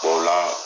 Ko o la